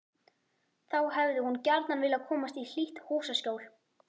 Þá hefði hún gjarna viljað komast í hlýtt húsaskjól.